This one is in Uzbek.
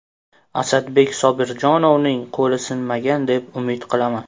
Asadbek Sobirjonovning qo‘li sinmagan deb umid qilaman.